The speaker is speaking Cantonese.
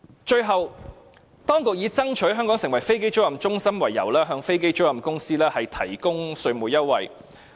最後，當局以爭取香港成為飛機租賃中心為由，向飛機租賃公司提供稅務優惠。